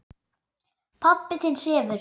Pabbi þinn sefur.